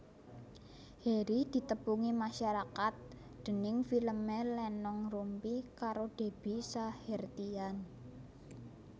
Harry ditepungi masarakat déning filmé Lenong Rumpi karo Debby Sahertian